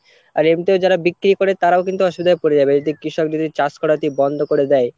আর এমনিতেও যারা বিক্রি করে তারাও কিন্তু অসুবিধায় পরে যাবে যদি কৃষক যদি চাষ করাতে বন্ধ করে দেয়।